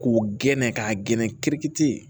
K'u gɛn ka gɛnɛ kirikitiri ye